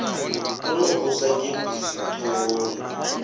o no bvula gebisi ṱhohoni